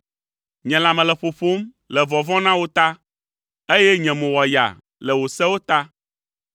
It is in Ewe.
Nye lãme le ƒoƒom le vɔvɔ̃ na wò ta, eye nye mo wɔ yaa le wò sewo ta.